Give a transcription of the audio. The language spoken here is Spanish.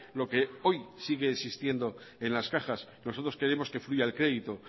lo que hoy sigue existiendo en las cajas nosotros queremos que fluya el crédito